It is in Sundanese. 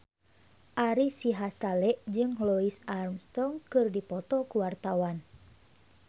Ari Sihasale jeung Louis Armstrong keur dipoto ku wartawan